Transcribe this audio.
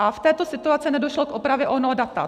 A v této situaci nedošlo k opravě onoho data.